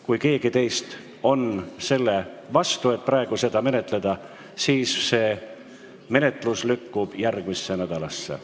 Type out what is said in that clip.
Kui keegi teist on selle vastu, et seda praegu menetleda, siis lükkub eelnõu menetlus järgmisse nädalasse.